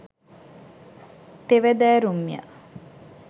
තෙවැදෑරුම්ය.